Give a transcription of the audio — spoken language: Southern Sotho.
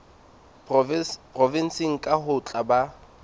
provenseng kang ho tla ba